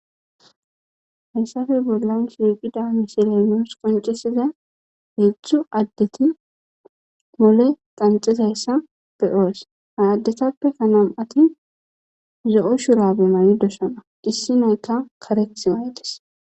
Hayssafe bollan shshiqida misiley nus qoncesiza heedzdzu addeti mole qanxizayssa be'oos ha addetappeka nam'ati zo'o shurabe mayidoossona issinaykka kareeththi mayidees